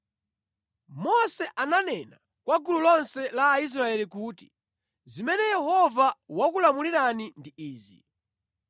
Mose ananena kwa gulu lonse la Aisraeli kuti, “Zimene Yehova wakulamulirani ndi izi: